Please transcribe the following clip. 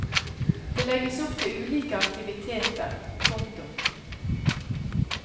Det legges opp til ulike aktiviteter. punktum